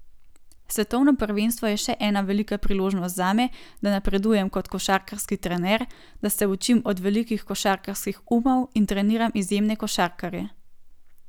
Svetovno prvenstvo je še ena velika priložnost zame, da napredujem kot košarkarski trener, da se učim od velikih košarkarskih umov in treniram izjemne košarkarje.